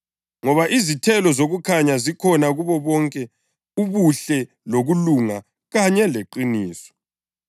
(ngoba izithelo zokukhanya zikhona kubo bonke ubuhle lokulunga kanye leqiniso)